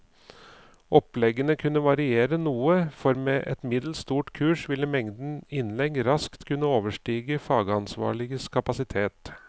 Oppleggene kunne variere noe, for med et middels stort kurs ville mengden innlegg raskt kunne overstige fagansvarliges kapasitet.